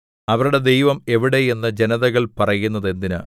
അവരുടെ ദൈവം എവിടെ എന്ന് ജനതകൾ പറയുന്നതെന്തിന്